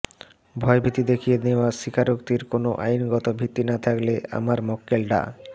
ভয়ভীতি দেখিয়ে নেওয়া স্বীকারোক্তির কোনো আইনগত ভিত্তি না থাকলে আমার মক্কেল ডা